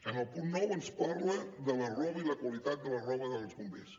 en el punt nou ens parla de la roba i la qualitat de la roba dels bombers